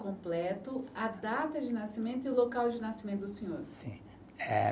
Completo, a data de nascimento e o local de nascimento do senhor? Sim, eh